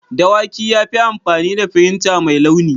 Dawaki ya yi amfani da firinta mai launi.